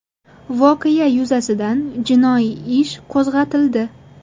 Voqea yuzasidan jinoiy ish qo‘zg‘atildi.